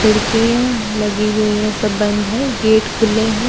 खिड़कियां लगी हुई हैं सब बंद है गेट खुले हैं।